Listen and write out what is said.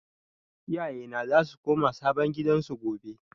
Iyaye na za su koma sabon gidan su gobe